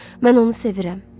Mən onu sevirəm.